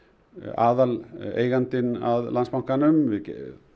aðaleigandinn að Landsbankanum við